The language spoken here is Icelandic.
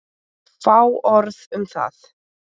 Fá orð um það.